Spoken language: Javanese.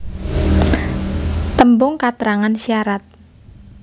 Tembung katrangan syarat